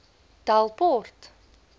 delport